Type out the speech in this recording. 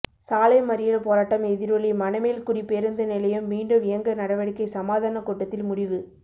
சாலை மறியல் போராட்டம் எதிரொலி மணமேல்குடி பேருந்து நிலையம் மீண்டும் இயங்க நடவடிக்கை சமாதான கூட்டத்தில் முடிவு